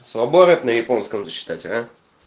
слабо рэп на японском зачитать а